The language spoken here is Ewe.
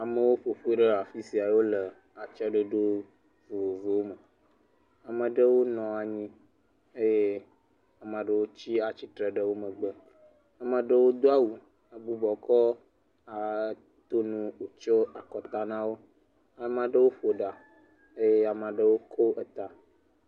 Amewo ƒoƒu ɖe afisia ye wole atsyɔ̃e dodo vovovowo me. Ame ɖewo nɔ anyi eye ame ɖewo tsia tsitre ɖe wo megbe, ame aɖewo do awu he gbugbɔ kɔ nu tsyɔ̃e akɔta nawo. Ame aɖewo ƒo ɖa eye ame aɖewo ko eta.